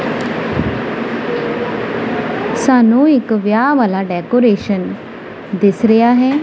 ਸਾਨੂੰ ਇੱਕ ਵਿਆਹ ਵਾਲਾ ਡੈਕੋਰੇਸ਼ਨ ਦਿੱਸ ਰਿਹਾ ਹੈ।